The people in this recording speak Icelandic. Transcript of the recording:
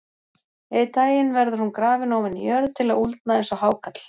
Einn daginn verður hún grafin ofan í jörð til að úldna eins og hákarl.